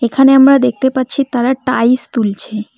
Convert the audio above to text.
এখানে আমরা দেখতে পাচ্ছি তারা টাইস তুলছে।